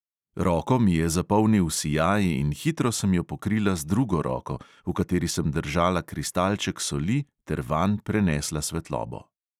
Roko mi je zapolnil sijaj in hitro sem jo pokrila z drugo roko, v kateri sem držala kristalček soli, ter vanj prenesla svetlobo.